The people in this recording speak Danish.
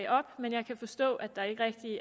op men jeg kan forstå at der ikke rigtig